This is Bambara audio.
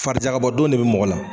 Farijakabɔ don de bɛ mɔgɔ la.